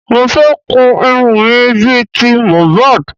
Mo fẹ́ kun irun mi bí i ti MOHBAD